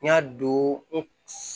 N y'a don n